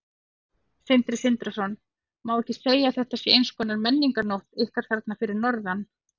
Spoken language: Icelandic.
Sindri Sindrason: Má ekki segja að þetta sé eins konar menningarnótt ykkar þarna fyrir norðan?